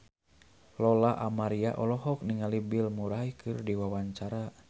Lola Amaria olohok ningali Bill Murray keur diwawancara